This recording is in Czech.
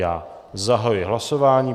Já zahajuji hlasování.